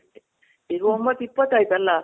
ಈಗ ಒಂಬತ್ ಇಪ್ಪತ್ ಆಯ್ತಲ್ಲ?